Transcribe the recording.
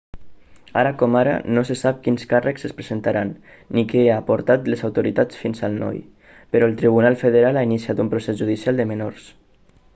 ara com ara no se sap quins càrrecs es presentaran ni què ha portat les autoritats fins al noi però el tribunal federal ha iniciat un procés judicial de menors